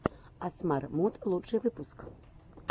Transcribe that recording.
асмар муд лучший выпуск